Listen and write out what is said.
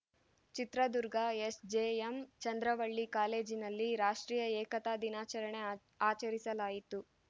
Chitradurga SJM Chandravalli ಕಾಲೇಜಿನಲ್ಲಿ ರಾಷ್ಟ್ರೀಯ ಏಕತಾ ದಿನಾಚರಣೆ ಆಚರಿಸಲಾಯಿತು